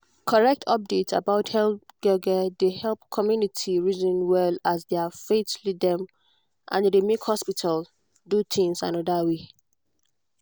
correct update about health gbege dey help community reason well as their faith lead dem and e dey make hospitals do things another way.